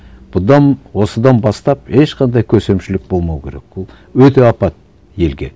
бұдан осыдан бастап ешқандай көсемшілік болмау керек ол өте апат елге